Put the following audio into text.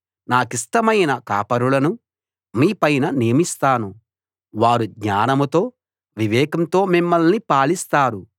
నాకిష్టమైన కాపరులను మీపైన నియమిస్తాను వారు జ్ఞానంతో వివేకంతో మిమ్మల్ని పాలిస్తారు